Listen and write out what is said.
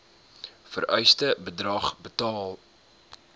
vereiste bedrag betaal